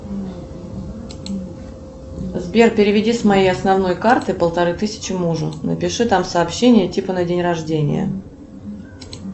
сбер переведи с моей основной карты полторы тысячи мужу напиши там сообщение типа на день рождения